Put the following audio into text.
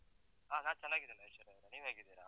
ಹ ನಾನ್ ಚನ್ನಾಗಿದ್ದೇನೆ ಐಶ್ವರ್ಯಾ, ನೀವ್ ಹೇಗಿದ್ದೀರ?